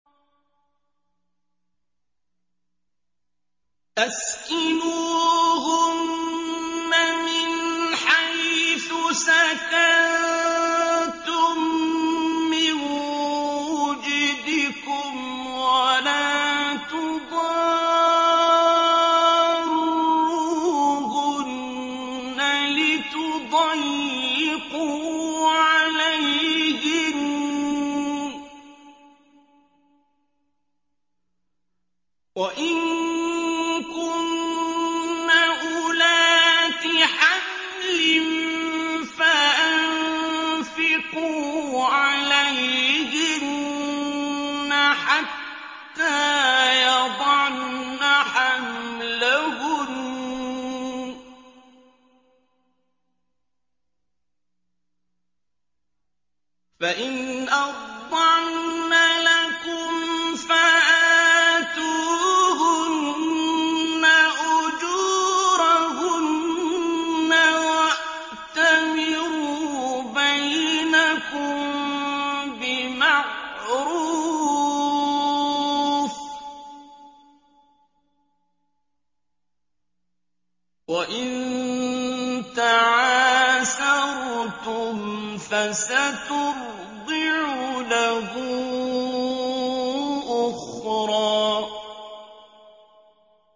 أَسْكِنُوهُنَّ مِنْ حَيْثُ سَكَنتُم مِّن وُجْدِكُمْ وَلَا تُضَارُّوهُنَّ لِتُضَيِّقُوا عَلَيْهِنَّ ۚ وَإِن كُنَّ أُولَاتِ حَمْلٍ فَأَنفِقُوا عَلَيْهِنَّ حَتَّىٰ يَضَعْنَ حَمْلَهُنَّ ۚ فَإِنْ أَرْضَعْنَ لَكُمْ فَآتُوهُنَّ أُجُورَهُنَّ ۖ وَأْتَمِرُوا بَيْنَكُم بِمَعْرُوفٍ ۖ وَإِن تَعَاسَرْتُمْ فَسَتُرْضِعُ لَهُ أُخْرَىٰ